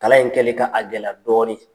Kalan in kɛli ka a gɛlɛya dɔɔnin.